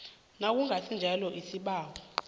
nakungasi njalo isibawo